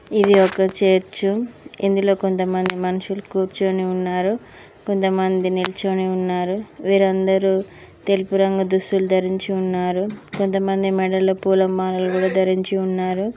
ఇది ఒక చర్చ్ ఇందులో కొంతమంది మనుషులు కూర్చుని ఉన్నారు కొంతమంది నిల్చొని ఉన్నారు వీరందరు తెలుపు రంగు దుస్తులు ధరించి ఉన్నారు కొంతమంది మెడలో పూల మాలలు కూడా ధరించి ఉన్నారు.